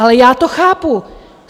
Ale já to chápu.